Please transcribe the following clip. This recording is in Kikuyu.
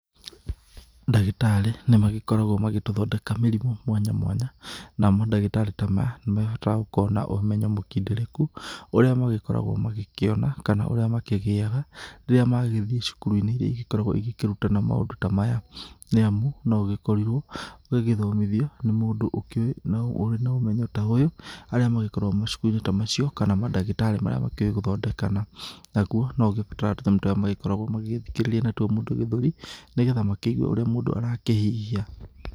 Ndagĩtarĩ, nĩ magĩkoragwo magĩtũthondeka mĩrimũ mwanya mwanya, na madagĩtarĩ ta maya, nĩ maragibatara gũkorwo na ũmenyo mũkindĩrĩku ũrĩa magĩkoragwo magĩkĩona kana ũrĩa makĩgĩaga rĩrĩa magĩthiĩ cukuru-inĩ iria ikoragwo igĩkĩrutana maũndũ ta maya, nĩamu, no gũgĩkorirwo gũgĩthomithio nĩ mũndũ ũkĩũĩ na ũrĩ na ũmenyo ta ũyũ, arĩa magĩkoragwo macukuru-inĩ ta macio kana madagĩtarĩ marĩa makĩũĩ gũthondekana. Naguo no ũgĩbatare tũnyamũ tũrĩa magĩkoragwo magĩgĩthikĩrĩria natuo mũndũ gĩthũri nĩ getha makĩigue ũrĩa mũndũ arakĩhihia.